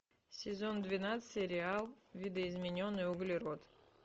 сезон двенадцать сериал видоизмененный углерод